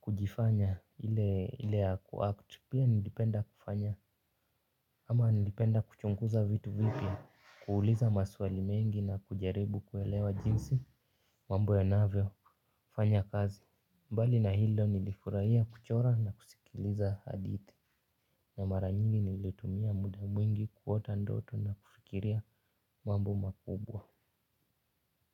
kujifanya ile ya ku act. Pia nilipenda kufanya, ama nilipenda kuchunguza vitu vipya, kuuliza maswali mengi na kujaribu kuelewa jinsi, mambo yanavyo, fanya kazi. Mbali na hilo nilifurahia kuchora na kusikiliza hadithi, na mara nyingi nilitumia muda mwingi kuota ndoto na kufikiria mambo makubwa.